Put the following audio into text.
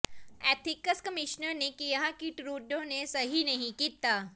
ethics commissioner ਨੇ ਕਿਹਾ ਕਿ ਟਰੂਡੋ ਨੇ ਸਹੀ ਨਹੀਂ ਕੀਤਾ